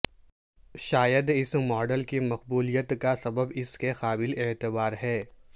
شاید اس ماڈل کی مقبولیت کا سبب اس کے قابل اعتبار ہے